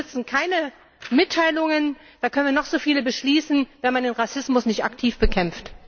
Uns nützen keine Mitteilungen da können wir noch so viele beschließen wenn man den Rassismus nicht aktiv bekämpft.